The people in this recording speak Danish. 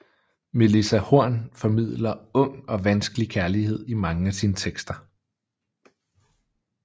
Melissa Horn formidler ung og vanskelig kærlighed i mange af sine tekster